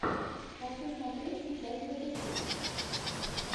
хочу смотреть сейчас для души